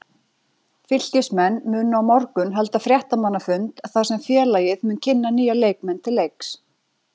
Fylkismenn munu á morgun halda fréttamannafund þar sem félagið mun kynna nýja leikmenn til leiks.